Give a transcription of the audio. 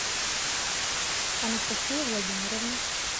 анастасия владимировна